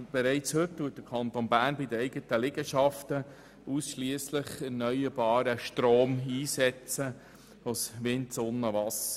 Der Kanton Bern setzt bereits heute bei den eigenen Liegenschaften ausschliesslich erneuerbaren Strom ein, also Wind, Sonne und Wasser.